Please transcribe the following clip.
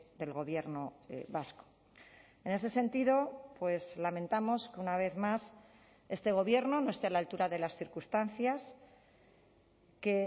del gobierno vasco en ese sentido pues lamentamos que una vez más este gobierno no esté a la altura de las circunstancias que